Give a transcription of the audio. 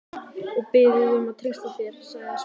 Og þú biður mig um að treysta þér- sagði Smári.